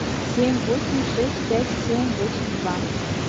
семь восемь шесть пять семь восемь два